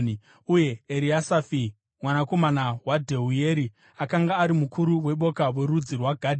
uye Eriasafi mwanakomana waDheueri akanga ari mukuru weboka rorudzi rwaGadhi.